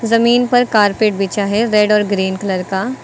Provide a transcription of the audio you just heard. जमीन पर कारपेट बिछा है रेड और ग्रीन कलर का।